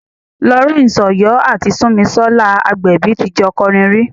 Lawrence Oyor àti Sunmisola Agbebi ti jọ kọrin rí.